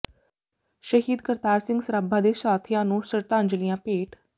ਸ਼ਹੀਦ ਕਰਤਾਰ ਸਿੰਘ ਸਰਾਭਾ ਤੇ ਸਾਥੀਆਂ ਨੂੰ ਸ਼ਰਧਾਂਜਲੀਆਂ ਭੇਟ